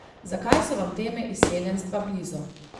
Zakaj so vam teme izseljenstva blizu?